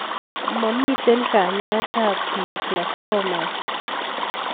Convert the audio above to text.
Mamito kanyaet ab Glioblastomas